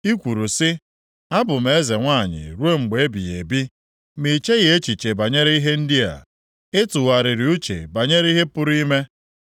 I kwuru sị, ‘Abụ m eze nwanyị ruo mgbe ebighị ebi!’ Ma i cheghị echiche banyere ihe ndị a, ị tụgharịghị uche banyere ihe pụrụ ime.